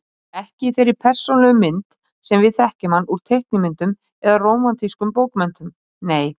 Ekki í þeirri persónulegu mynd sem við þekkjum hann úr teiknimyndum eða rómantískum bókmenntum, nei.